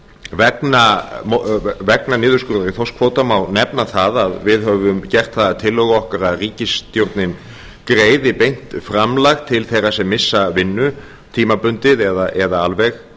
vegna niðurskurðar í þorskkvóta má nefna það að við höfum gert það að tillögu okkar að ríkisstjórnin greiði beint framlag til þeirra sem missa vinnu tímabundið eða alveg